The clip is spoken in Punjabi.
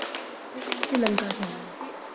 ਓਥੇ ਕੇਹ੍ਨ੍ਡੇ ਸਿਰਿਲੰਕਾ ਵਿਚ ਵੀ